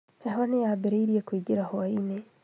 Heho nĩyambĩrĩirie kũingĩra hwaĩ-inĩ